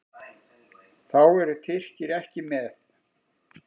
Þá eru Tyrkir ekki með.